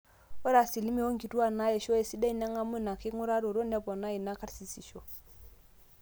ore asilimia oonkituaak naaisho esidai neng'amu ina king'uraroto nepona enaa karsisisho